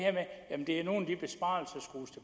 er nogle